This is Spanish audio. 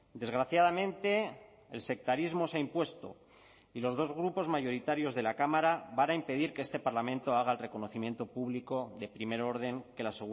desgraciadamente el sectarismo se ha impuesto y los dos grupos mayoritarios de la cámara van a impedir que este parlamento haga el reconocimiento público de primer orden que la